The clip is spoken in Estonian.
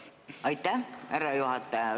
Aitäh, härra juhataja!